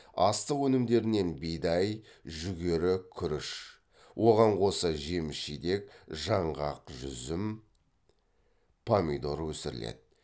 астық өнімдерінен бидай жүгері күріш оған қоса жеміс жидек жаңғақ жүзім помидор өсіріледі